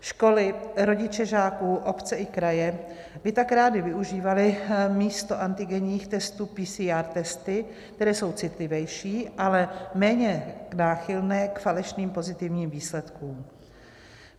Školy, rodiče žáků, obce i kraje by tak rády využívaly místo antigenních testů PCR testy, které jsou citlivější, ale méně náchylné k falešným pozitivním výsledkům.